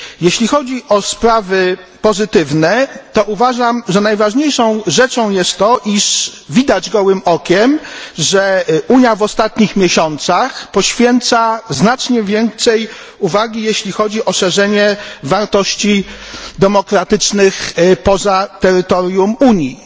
Jeśli chodzi o sprawy pozytywne, to uważam, że najważniejszą rzeczą jest to, iż widać gołym okiem, że Unia w ostatnich miesiącach poświęca znacznie więcej uwagi szerzeniu wartości demokratycznych poza terytorium Unii.